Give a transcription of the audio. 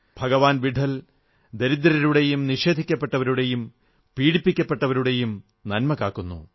ഭഗവാൻ വിട്ഠൽ ദരിദ്രരുടെയും നിഷേധിക്കപ്പെട്ടവരുടെയും പീഡിപ്പിക്കപ്പെട്ടവരുടെയും നന്മ കാക്കുന്നു